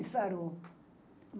E sarou.